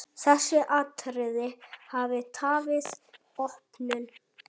Þessi atriði hafi tafið opnun.